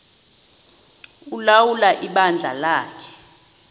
ulawula ibandla lakhe